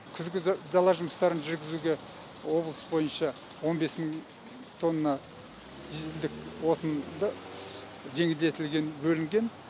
күзгі дала жұмыстарын жүргізуге облыс бойынша он бес мың тонна дизельдік отынды жеңілдетілген бөлінген